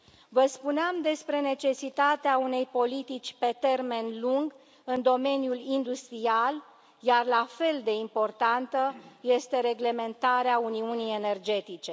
Vă spuneam despre necesitatea unei politici pe termen lung în domeniul industrial, iar la fel de importantă este reglementarea uniunii energetice.